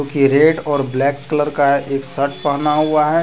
ये रेड और black colour का एक शर्ट पहना हुआ है।